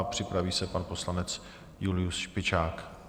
A připraví se pan poslanec Julius Špičák.